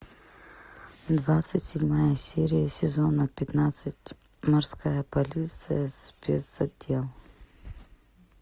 двадцать седьмая серия сезона пятнадцать морская полиция спецотдел